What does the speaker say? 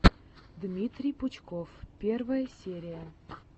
дмитрий пучков первая серия